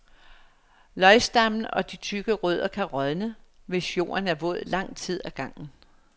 Løgstammen og de tykke rødder kan rådne, hvis jorden er våd lang tid ad gangen.